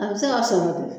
A bɛ se ka sɔrɔ de